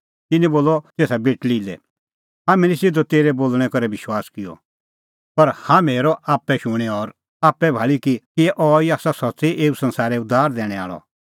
तिन्नैं बोलअ तेसा बेटल़ी लै हाम्हैं निं सिधअ तेरै बोल़णैं करै विश्वास किअ पर हाम्हैं हेरअ आप्पै शूणीं और आप्पै भाल़ी कि अहैई आसा सच्च़ी एऊ संसारै उद्धार दैणैं आल़अ